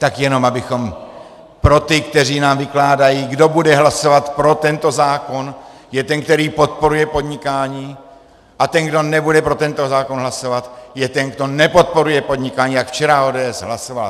Tak jenom abychom pro ty, kteří nám vykládají, kdo bude hlasovat pro tento zákon, je ten, který podporuje podnikání, a ten, kdo nebude pro tento zákon hlasovat, je ten, kdo nepodporuje podnikání, jak včera ODS hlasovala.